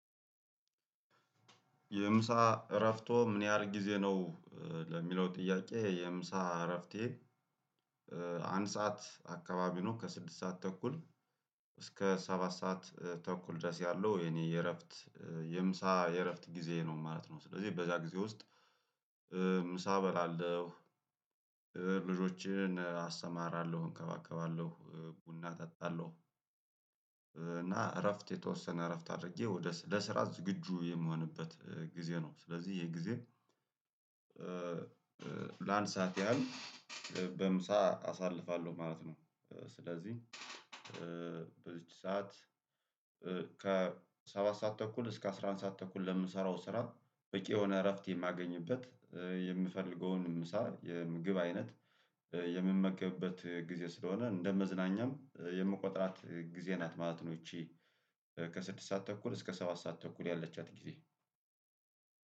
የምሳ እረፍቶዎ ምን ያህል ጊዜ ነው? ለሚለው ጥያቄ የምሳ እረፍቴ። አንድ ሰዓት አካባቢ ነው ከስድስት ሰዓት ተኩል እስከ ሰባት ሰዓት ተኩል ድረስ ያለው የኔ የእረፍት የምሳ የእረፍት ጊዜ ነው ማለት ነው። ስለዚህ በዛ ጊዜ ውስጥ ምሳ እበላለሁ። ልጆችን አሰማራለሁ እንከባከባለሁ ቡና እጠጣለሁ። እና እረፍት የተወሰነ እረፍት አድርጌ ወደ ለስራ ዝግጁ የሚሆንበት ጊዜ ነው። ስለዚህ የጊዜ ለአንድ ሰዓት ያህል በምሳ አሳልፋለሁ ማለት ነው። ስለዚህ በዚች ሰዓት ከሰባት ሰዓት ተኩል እስከ አስራ አንድ ሰዓት ተኩል ለምሰራው ስራ በቂ የሆነ እረፍት የማገኝበት የምፈልገውን ምሳ የምግብ አይነት የምመክበት ጊዜ ስለሆነ እንደ መዝናኛም የምቆጥራት ጊዜ ናት ማለት ነው። ይቺ ከስድስት ሰዓት ተኩል እስከ ሰባት ሰዓት ተኩል ያለቻት ጊዜ።